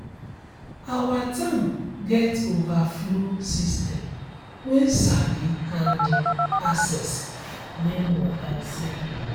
our tank get overflow system wen sabi handle excess rainwater safely